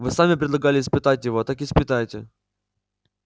вы сами предлагали испытать его так испытайте